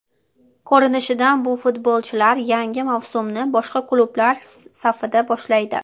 Ko‘rinishidan bu futbolchilar yangi mavsumni boshqa klublar safida boshlaydi.